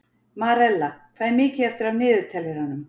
Marella, hvað er mikið eftir af niðurteljaranum?